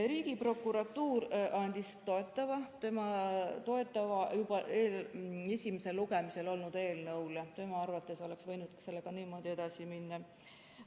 Riigiprokuratuur andis toetava seisukoha juba esimesel lugemisel olnud eelnõule, tema arvates oleks võinud sellega niimoodi edasi minna.